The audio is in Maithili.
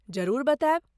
जरूर बतायब।